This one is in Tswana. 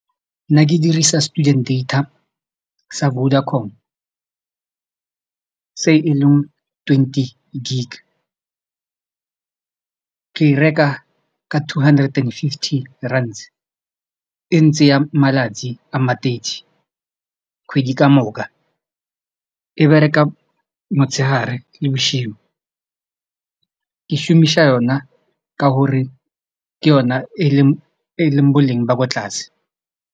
Nna ke dirisa student data sa Vodacom ka se e leng twenty gig ke e reka ka two hundred and fifty rands e ntsi ya malatsi a thirty kgwedi ka moka e bereka motshegare le bošigo ke šomiša yona ka gore ke yona e leng boleng ba kwa tlase.